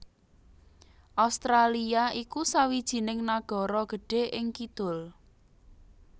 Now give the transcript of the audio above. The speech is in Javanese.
Australia iku sawijining nagara gedhé ing kidul